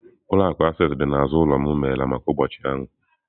Ụlọ akụ Access dị n'azụ ụlọ m emeghela maka ụbọchị ahụ.